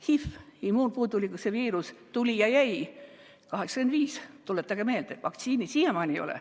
HIV, immuunpuudulikkuse viirus, tuli ja jäi, 1985, tuletage meelde, aga vaktsiini siiamaani ei ole.